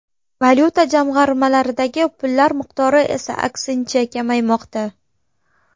Valyuta jamg‘armalaridagi pullar miqdori esa aksincha kamaymoqda.